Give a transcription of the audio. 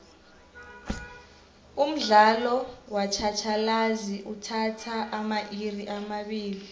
umdlalo wetjhatjhalazi uthatha amairi amabili